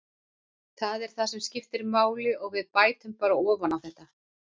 Það er það sem skiptir máli og við bætum bara ofan á þetta.